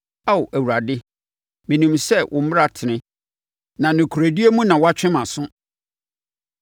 Ao Awurade, menim sɛ wo mmara tene, na nokorɛdie mu na woatwe mʼaso.